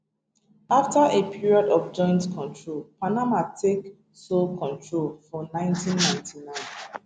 afta a period of joint control panama take sole control for 1999